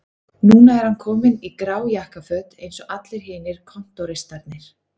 Núna er hann kominn í grá jakkaföt eins og allir hinir kontóristarnir